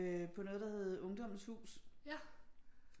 På noget der hed Ungdommens Hus